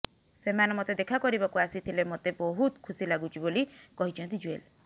ସେମାନେ ମୋତେ ଦେଖା କରିବାକୁ ଆସିଥିଲେ ମୋତେ ବହୁତ ଖୁସି ଲାଗୁଛି ବୋଲି କହିଛନ୍ତି ଜୁଏଲ